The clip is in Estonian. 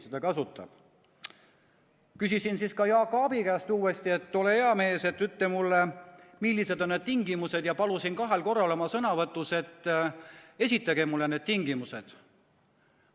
Küsisin ka Jaak Aabi käest uuesti, et ole hea mees, ütle mulle, millised on need tingimused, ja palusin kahel korral oma sõnavõtus, et esitage mulle need tingimused.